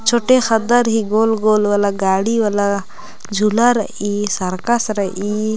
छोटे खददर ही गोल गोल वाला गाड़ी वाला झुला रइई सरकस रइई।